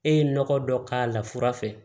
E ye nɔgɔ dɔ k'a la fura fɛ